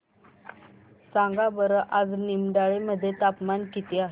सांगा बरं आज निमडाळे मध्ये तापमान किती आहे